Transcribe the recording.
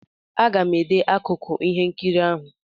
Aga m ede akụkụ ihe nkiri ahụ.